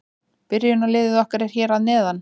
Byrjunarliðið okkar er hér að neðan.